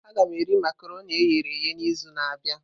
Aga m eri makaronii e ghere eghe n'izu na-abịa.